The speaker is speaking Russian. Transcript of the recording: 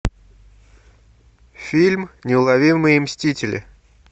фильм неуловимые мстители